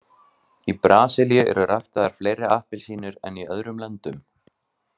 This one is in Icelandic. Í Brasilíu eru ræktaðar fleiri appelsínur en í öðrum löndum.